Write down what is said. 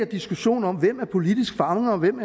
diskussion om hvem der er politisk fange og hvem